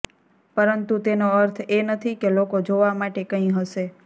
પરંતુ તેનો અર્થ એ નથી કે લોકો જોવા માટે કંઈ હશે